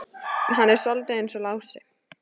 Hann er soldið eins og Lási.